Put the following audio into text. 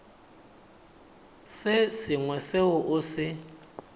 se sengwe seo o se